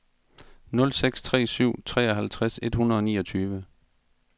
nul seks tre syv treoghalvtreds et hundrede og niogtyve